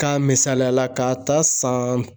K'a misaliya la k'a ta san